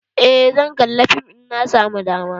Eh, zan kalla fim in na samu dama.